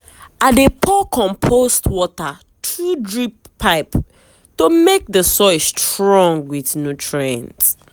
i dey pour compost water through drip pipe to make the soil strong with nutrients.